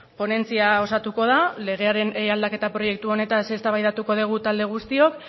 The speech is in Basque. ponentzia osatuko da legearen aldaketa proiektu honetaz eztabaidatuko dugu talde guztiok